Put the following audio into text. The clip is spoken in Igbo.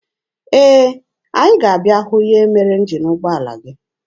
Ee, anyị ga-abịa hụ ihe mere njin ụgbọala gị.